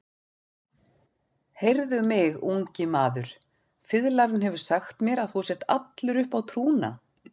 Heyrðu mig, ungi maður, fiðlarinn hefur sagt mér að þú sért allur uppá trúna.